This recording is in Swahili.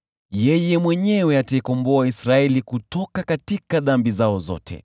Yeye mwenyewe ataikomboa Israeli kutoka dhambi zao zote.